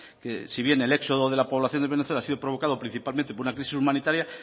que si bien el éxodo de la poblacion de venezuela ha sido provocado principalmente por una crisis humanitaria